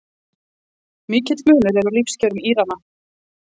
Mikill munur er á lífskjörum Írana